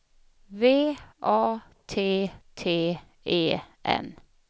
V A T T E N